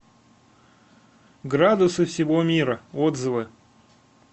градусы всего мира отзывы